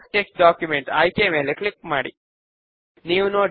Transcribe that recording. next పైన click చేయండి